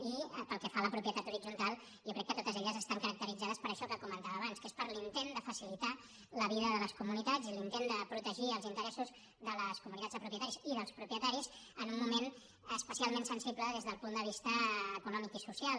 i pel que fa a la propietat horitzontal jo crec que totes estan caracteritzades per això que comentava abans que és l’intent de facilitar la vida de les comunitats i l’intent de protegir els interessos de les comunitats de propietaris i dels propietaris en un moment especialment sensible des del punt de vista econòmic i social